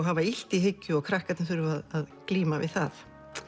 hafa illt í hyggju og krakkarnir þurfa að glíma við það